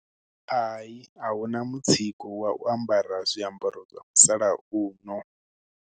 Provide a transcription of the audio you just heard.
Ayi, a hu na mutsiko wa u ambara zwiambaro zwa musalauno.